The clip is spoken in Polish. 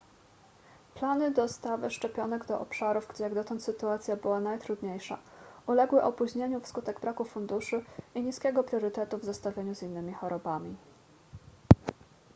plany dostawy szczepionek do obszarów gdzie jak dotąd sytuacja była najtrudniejsza uległy opóźnieniu wskutek braku funduszy i niskiego priorytetu w zestawieniu z innymi chorobami